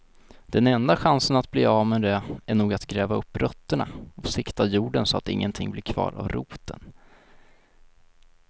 Den enda chansen att bli av med det är nog att gräva upp rötterna och sikta jorden så att ingenting blir kvar av roten.